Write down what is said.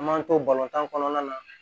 An m'an to tan kɔnɔna na